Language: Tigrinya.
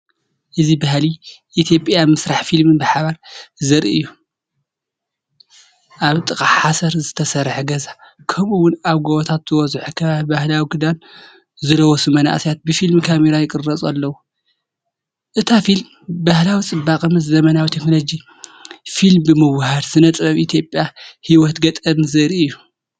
እዚ ባህሊ ኢትዮጵያን ምስራሕ ፊልምን ብሓባር ዘርኢ እዩ። ኣብ ጥቓ ብሓሰር ዝተሰርሐ ገዛ፣ ከምኡ’ውን ኣብ ጎቦታት ዝበዝሖ ከባቢ፡ባህላዊ ክዳንዝለበሱ መንእሰያት ብፊልም ካሜራ ይቅረፁ ኣለዉ። እታ ፊልም ባህላዊ ጽባቐ ምስ ዘመናዊ ቴክኖሎጂ ፊልምብምውህሃድ ስነ-ጥበብ ኢትዮጵያን ህይወት ገጠርን ዘርኢ እዩ።